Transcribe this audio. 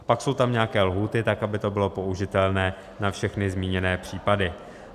Pak jsou tam nějaké lhůty tak, aby to bylo použitelné na všechny zmíněné případy.